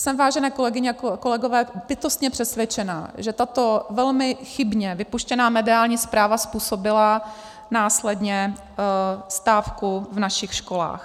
Jsem, vážené kolegyně a kolegové, bytostně přesvědčena, že tato velmi chybně vypuštěná mediální zpráva způsobila následně stávku v našich školách.